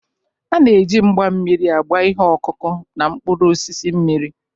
A na-eji mgba mmiri agba ihe ọkụkụ na mkpụrụ osisi mmiri.